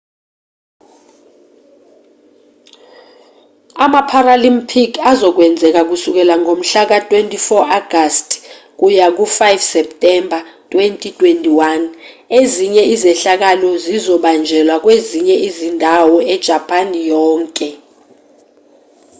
ama-paralympic azokwenzeka kusukela ngomhla ka-24 agasti kuya ku-5 septemba 2021 ezinye izehlakalo zizobanjelwa kwezinye izindawo ejapani yonke